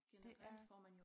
Det er